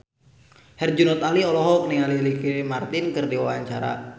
Herjunot Ali olohok ningali Ricky Martin keur diwawancara